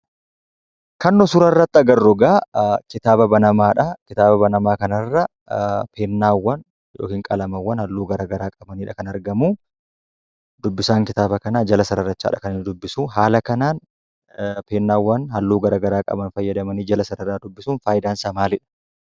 Kan nu suurarratti agarrukaa kitaaba banamaadhaa kitaaba banamaa kanarra peennaawwan yookiin qalamaawwan halluu garagaraa qabanidha kan argamuu, dubbisaan kitaaba kanaa jala sararachaadha kan inni dubbisuu, haala kanaan peennaa halluu garagaraa qaban fayyadamanii jala sararaa dubbisuun fayidaansaa maalidha?